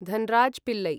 Dhanraj Pillai